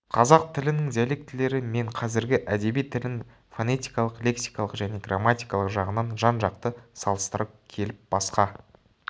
қазақ тілінің диалектілері мен қазіргі әдеби тілін фонетикалық лексикалық және грамматикалық жағынан жан-жақты салыстыра келіп басқа